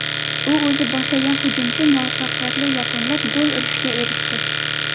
U o‘zi boshlagan hujumchi muvaffaqiyatli yakunlab, gol urishga erishdi.